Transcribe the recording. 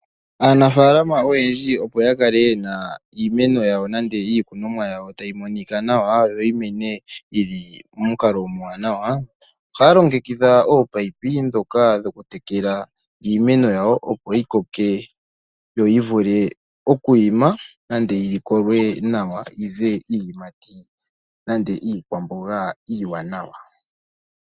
Aanafalama oyendji, opo ya kale iimeno nenge iikunomwa yawo ta yi monika nawa yo yi mene yili mo mukalo omwaanawa, ohaya longekidha oopapi dhoka dhoku tekela iimeno yawo, yo yi koke yi vule okwiima nande yi likolwe nawa yo yize iiyimati nande iikwamboga iiwanawa.